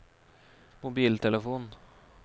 mobiltelefon